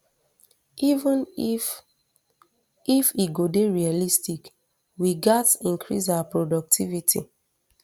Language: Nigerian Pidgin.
even if if e go dey realistic we gatz increase our productivity